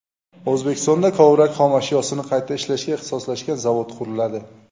O‘zbekistonda kovrak xom ashyosini qayta ishlashga ixtisoslashgan zavod quriladi.